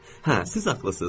Hə, siz haqlısız.